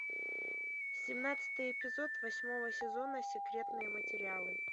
семнадцатый эпизод восьмого сезона секретные материалы